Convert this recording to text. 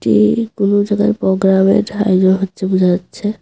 এইর কোনো জাগায় পোগ্রামের আয়োজন হচ্ছে বোঝা যাচ্ছে।